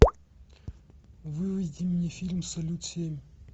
выведи мне фильм салют семь